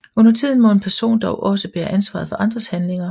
Undertiden må en person dog også bære ansvaret for andres handlinger